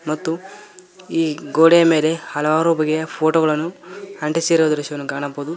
ಮತ್ತು ಈ ಗೋಡೆಯ ಮೇಲೆ ಹಲವಾರು ಬಗೆಯ ಫೋಟೋ ಗಳನ್ನು ಅಂಟಿಸಿರುವ ದೃಶ್ಯವನ್ನು ಕಾಣಬಹುದು.